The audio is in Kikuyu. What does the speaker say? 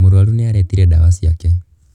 Mũrũaru nĩ aretire ndawa ciake.